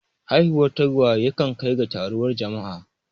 Haihuwar tagwaye yakan kai ga taruwar jama'a.